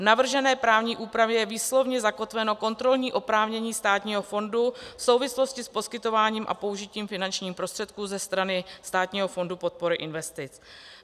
V navržené právní úpravě je výslovně zakotveno kontrolní oprávnění státního fondu v souvislosti s poskytováním a použitím finančních prostředků ze strany Státního fondu podpory investic.